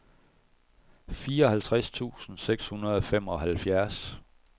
fireoghalvtreds tusind seks hundrede og femoghalvfjerds